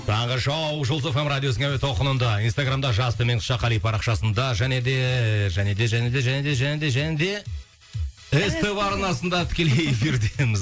таңғы шоу жұлдыз эф эм радиосының әуе толқынында инстаграмда жас төмен сызықша қали парақшасында және де және де және де және де және де және де ств арнасында тікелей эфирдеміз